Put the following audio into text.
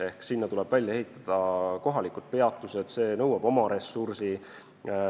Ehk tuleb välja ehitada kohalikud peatused, see nõuab ressurssi.